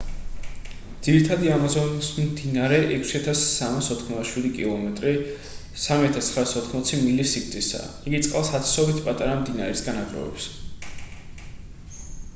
ძირითადი ამაზონის მდინარე 6,387 კმ 3,980 მილი სიგრძისაა. იგი წყალს ათასობით პატარა მდინარისგან აგროვებს